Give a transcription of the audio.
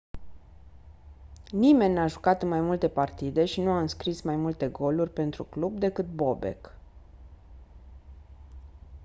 nimeni n-a jucat în mai multe partide și nu a înscris mai multe goluri pentru club decât bobek